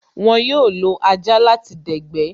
Wón yóò lo ajá láti dẹ̀gbẹ́